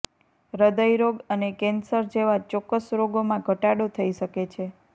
હૃદય રોગ અને કેન્સર જેવા ચોક્કસ રોગોમાં ઘટાડો થઈ શકે છે